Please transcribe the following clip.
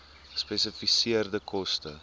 gespesifiseerde koste